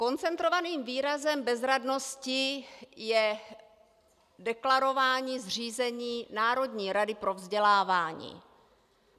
Koncentrovaným výrazem bezradnosti je deklarování zřízení Národní rady pro vzdělávání.